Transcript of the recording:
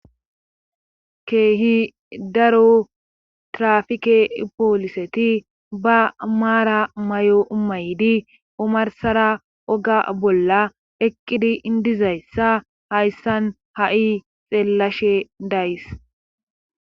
keehi daro trafike pooliseti ba maara may7o umaydi omarsara oga bolla eqqidi indizayssa hayssan ha7i xeellashe days